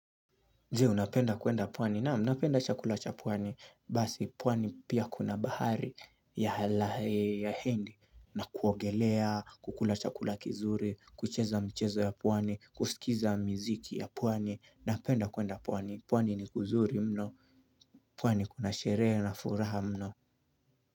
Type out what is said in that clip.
Jee unapenda kwenda pwani naam napenda chakula cha pwani basi pwani pia kuna bahari ya hindi na kuogelea kukula chakula kizuri kucheza mchezo ya pwani kusikiza mziki ya pwani napenda kwenda pwani pwani ni kuzuri mno pwani kuna sherehe na furaha mno.